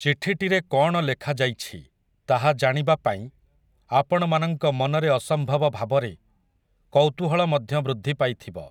ଚିଠିଟିରେ କଅଣ ଲେଖାଯାଇଛି, ତାହା ଜାଣିବା ପାଇଁ, ଆପଣମାନଙ୍କ ମନରେ ଅସମ୍ଭବ ଭାବରେ, କୌତୂହଳ ମଧ୍ୟ ବୃଦ୍ଧି ପାଇଥିବ ।